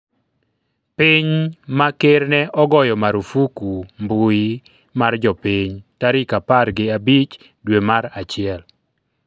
piny ma ker ne ogoyo marufuku mbui mar jopiny tarik apar gi abich dwe mar achiel